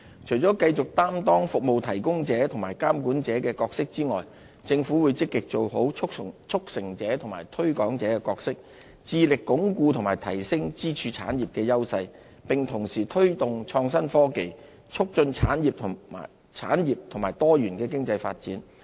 除了繼續擔當"服務提供者"和"監管者"的角色外，政府會積極做好"促成者"和"推廣者"的角色，致力鞏固及提升支柱產業的優勢，並同時推動創新科技，促進產業及多元經濟發展。